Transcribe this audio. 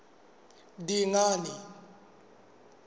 dingane